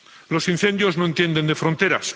Los incendios no entienden de fronteras.